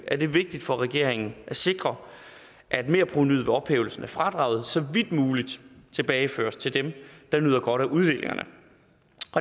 er det vigtigt for regeringen at sikre at merprovenuet ved ophævelsen af fradraget så vidt muligt tilbageføres til dem der nyder godt af uddelingerne